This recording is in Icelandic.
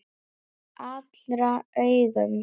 Fyrir allra augum!